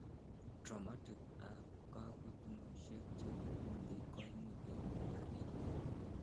traumatic ab kakotunosiek chebo kundit koimuch koib miandap iywek